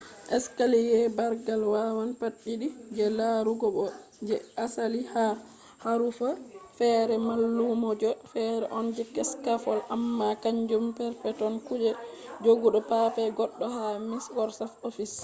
escaliye bargal wawan pat did je larugo bo je asali ha harufa fere mallumjo fere on je scaffold amma kanjum perpeton kuje jogugo paper goddo ha microsoft office